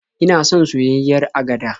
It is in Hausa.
Ina son soyayyiyar agada.